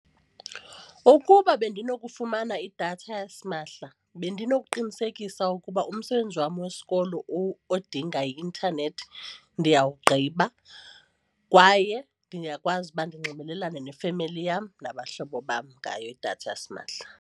Ukuba bendinokufumana idatha yasimahla bendinokuqinisekisa ukuba umsebenzi wam wesikolo odinga i-intanethi ndiyawugqiba kwaye ndingakwazi uba ndinxibelelane nefemeli yam nabahlobo bam ngayo idatha yasimahla.